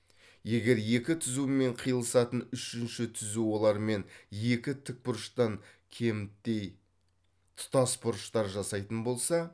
егер екі түзумен қиылысатын үшінші түзу олармен екі тікбұрыштан кеміттей тұтас бұрыштар жасайтын болса